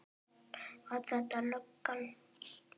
Var þetta löggan?